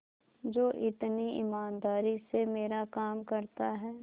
जो इतनी ईमानदारी से मेरा काम करता है